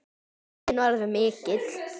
Áhuginn var mikill.